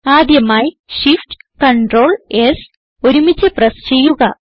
ആദ്യമായി shift ctrl s ഒരുമിച്ച് press ചെയ്യുക